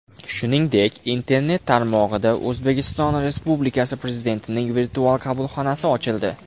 Shuningdek, Internet tarmog‘ida O‘zbekiston Respublikasi Prezidentining Virtual qabulxonasi ochildi.